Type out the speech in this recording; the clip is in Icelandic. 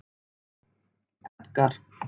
Edgar